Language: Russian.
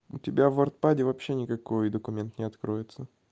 у тебя в вордпаде вообще никакой документ не откроется